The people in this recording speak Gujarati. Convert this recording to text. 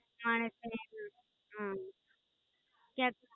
થાણે ફરેને હમ ક્યાંક